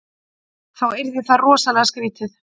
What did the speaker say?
Þá yrði það rosalega skrítið.